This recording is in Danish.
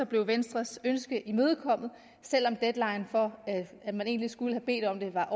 blev venstres ønske imødekommet selv om deadline for at man egentlig skulle have bedt om det var